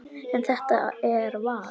En þetta er val.